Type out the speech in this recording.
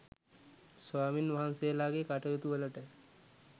ස්වාමීන් වහන්සේලාගේ කටයුතු වලට